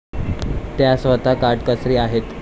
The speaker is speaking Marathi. त्या स्वतः काटकसरी आहेत.